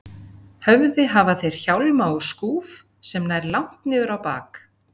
höfði hafa þeir hjálma og skúf sem nær langt niður á bak.